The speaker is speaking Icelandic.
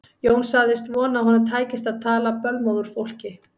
Jón sagðist vona að honum tækist að tala bölmóð úr fólki.